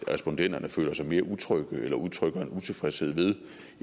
respondenterne føler sig mere utrygge eller udtrykker en utilfredshed ved